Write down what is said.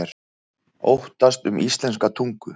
Óttast um íslenska tungu